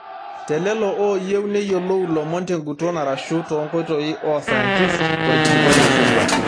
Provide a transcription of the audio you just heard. Telelo oyieu neyiolou ilomon tenguton arashu tonkoitoi oo sayantist orkilikwai oishoruaki.